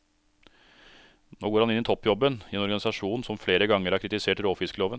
Nå går han inn i toppjobben i en organisasjon som flere ganger har kritisert råfiskloven.